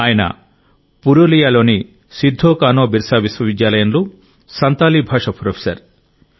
ఆయన పురూలియాలోని సిద్ధోకానోబిర్సా విశ్వవిద్యాలయంలో సంతాలీ భాష ప్రొఫెసర్